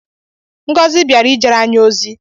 Ngozi baịra ijere anyị ozi